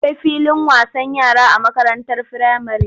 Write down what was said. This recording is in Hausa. Akwai filin wasan yara a makarantar firamare.